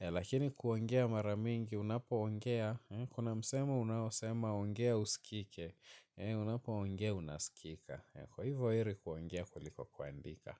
Lakini kuongea mara mingi unapoongea kuna msemo unaosema ongea uskike. Unapoongea unaskika. Kwa hivyo heri kuongea kuliko kuandika.